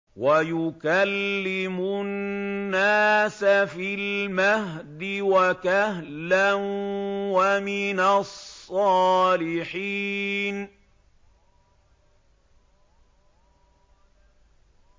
وَيُكَلِّمُ النَّاسَ فِي الْمَهْدِ وَكَهْلًا وَمِنَ الصَّالِحِينَ